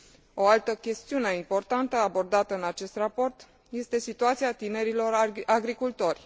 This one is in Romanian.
O altă chestiune importantă abordată în acest Raport este situația tinerilor agricultori.